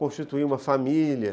constituir uma família.